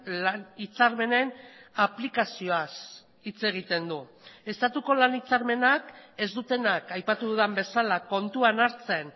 lan hitzarmenen aplikazioaz hitz egiten du estatuko lan hitzarmenak ez dutenak aipatu dudan bezala kontuan hartzen